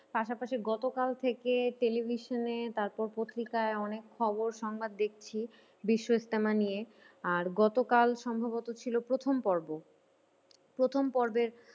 পাশাপাশি গত কাল থেকে television এ তারপর পত্রিকায় অনেক খবর সংবাদ দেখছি বিশ্বইস্তেমা নিয়ে। আর গতকাল সম্ভবত ছিল প্রথম পর্ব। প্রথম পর্বের